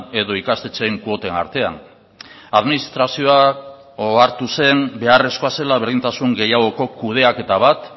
edo ikastetxeen kuoten artean administrazioa ohartu zen beharrezkoa zela berdintasun gehiagoko kudeaketa bat